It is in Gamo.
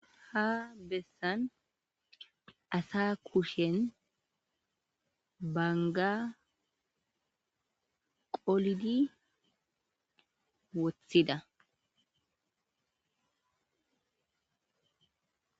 ha bessan asa kushen banga qolidi wothida